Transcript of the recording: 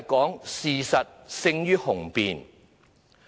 就是事實勝於雄辯。